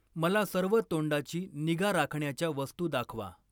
मला सर्व तोंडाची निगा राखण्याच्या वस्तू दाखवा.